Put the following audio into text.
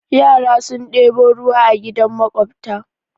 Yara sun ɗebo ruwa a gidan maƙwabta.